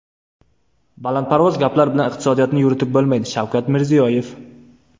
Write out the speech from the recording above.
Balandparvoz gaplar bilan iqtisodiyotni yuritib bo‘lmaydi Shavkat Mirziyoyev.